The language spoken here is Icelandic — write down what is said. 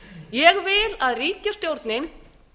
ég vil að ríkisstjórnin